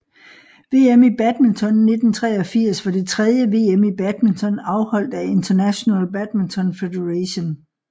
VM i badminton 1983 var det tredje VM i badminton afholdt af International Badminton Federation